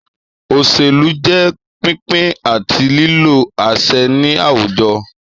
Òṣèlú jẹ́ pínpín àti lílo àṣẹ ní àwùjọ